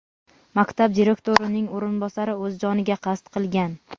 maktab direktorining o‘rinbosari o‘z joniga qasd qilgan.